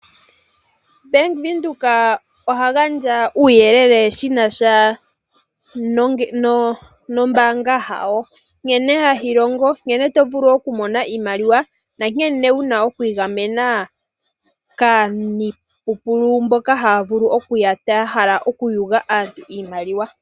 Bank Windhoek oha gandja uuyelele shina sha nombaanga yawo, nkene hayi longo, nkene to vulu okumona iimaliwa, na nkene wuna okwiigamena kookalyamupombo mboka haa vulu okuuya taa hala okuyuga aantu iimaliwa.